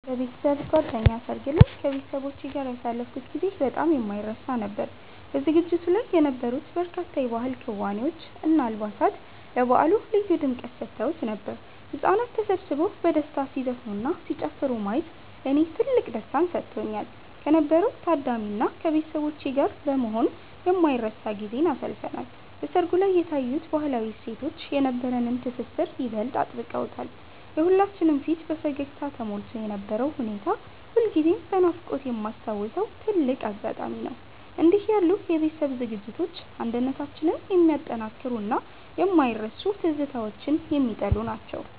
በቤተሰብ ጓደኛ ሰርግ ላይ ከቤተሰቦቼ ጋር ያሳለፍኩት ጊዜ በጣም የማይረሳ ነበር። በዝግጅቱ ላይ የነበሩት በርካታ የባህል ክዋኔዎች እና አልባሳት ለበዓሉ ልዩ ድምቀት ሰጥተውት ነበር። ህጻናት ተሰብስበው በደስታ ሲዘፍኑና ሲጨፍሩ ማየት ለኔ ትልቅ ደስታን ሰጥቶኛል። ከነበረው ታዳሚ እና ከቤተሰቦቼ ጋር በመሆን የማይረሳ ጊዜን አሳልፈናል። በሰርጉ ላይ የታዩት ባህላዊ እሴቶች የነበረንን ትስስር ይበልጥ አጥብቀውታል። የሁላችንም ፊት በፈገግታ ተሞልቶ የነበረው ሁኔታ ሁልጊዜም በናፍቆት የማስታውሰው ትልቅ አጋጣሚ ነው። እንዲህ ያሉ የቤተሰብ ዝግጅቶች አንድነታችንን የሚያጠናክሩና የማይረሱ ትዝታዎችን የሚጥሉ ናቸው።